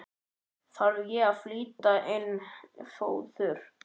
Þarf að flytja inn fóður?